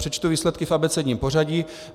Přečtu výsledky v abecedním pořadí.